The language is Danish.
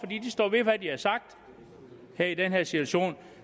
de står ved hvad de har sagt her i den her situation